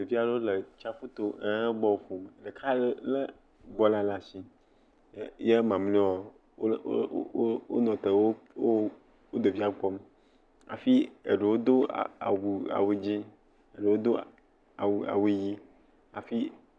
Ɖevi aɖewo le tsaƒu to ehe bɔl ƒom. Ɖeka le bɔl le asi ye mamleawoa wo le wo wonɔte wo wo ɖevia vɔm hafi eɖewo do a awu awu dzi eɖewo do awu awu awu ʋi hafi.